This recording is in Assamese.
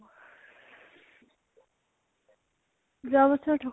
যোৱা বছৰ থকা